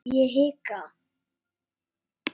Ég hika.